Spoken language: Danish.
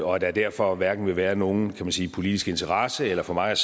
og at der derfor hverken vil være nogen politisk interesse eller for mig